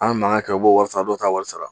An bɛ mankan kɛ u b'o wari sara, dɔw tɛ wari sara.